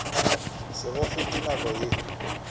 se go fete nako ye